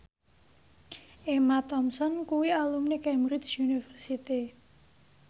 Emma Thompson kuwi alumni Cambridge University